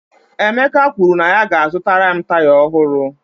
Emeka kwuru na ya ga-azụtara m taya ọhụrụ